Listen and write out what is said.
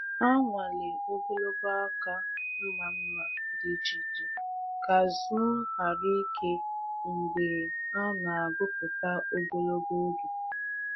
Ha nwalee ogologo aka mma mma dị iche iche ka azụ ghara ike mgbe a na-agwupụta ogologo oge.